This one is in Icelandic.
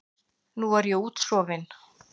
Nú er ég útsofin.